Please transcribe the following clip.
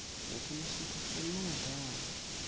я конечно насладился да